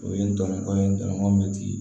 O ye n dɔngɔ ye n tɔɔrɔ mɛ tiri